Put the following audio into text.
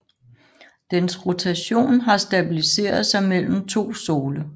Dens rotation har stabiliseret sig mellem to sole